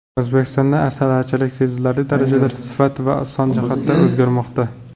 O‘zbekistonda asalarichilik sezilarli daarajada sifat va son jihatda o‘zgarmoqda.